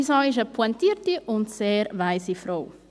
Ja, meine Mami ist eine pointierte und sehr weise Frau.